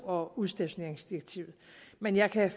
og udstationeringsdirektivet men jeg kan